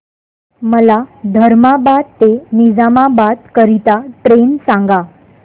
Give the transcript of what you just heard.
मला धर्माबाद ते निजामाबाद करीता ट्रेन सांगा